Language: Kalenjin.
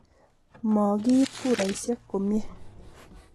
ma kiit kuraisiek komie.